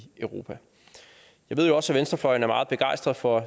europa jeg ved også at venstrefløjen er meget begejstret for